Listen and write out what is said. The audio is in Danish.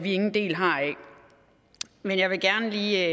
ingen del har i men jeg vil gerne lige